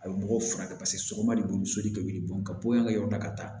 A bɛ mɔgɔw furakɛ paseke sɔgɔma de bo soli ka wuli ka bɔ yan ka yɔrɔ da ka taa